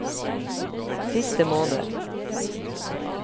siste måned